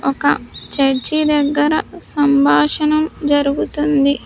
ఒక చర్చి దగ్గర సంభాషణం జరుగుతుంది.